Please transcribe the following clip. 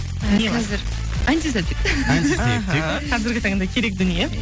і қазір антисептик антисептик іхі қазіргі таңда керек дүние